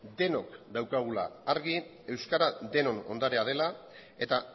denok daukagula argi euskara denon ondarea dela eta